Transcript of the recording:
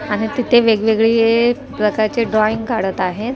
आणि तिथे वेगवेगळे प्रकारचे ड्रॉइंग काढत आहेत.